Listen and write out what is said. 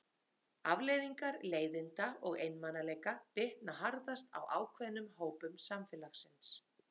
Afleiðingar leiðinda og einmanaleika bitna harðast á ákveðnum hópum samfélagsins.